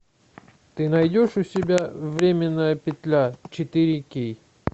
ты найдешь у себя временная петля четыре кей